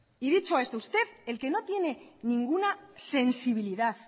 y dicho esto usted el que no tiene ninguna sensibilidad